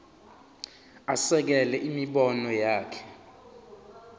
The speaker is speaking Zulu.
asekele imibono yakhe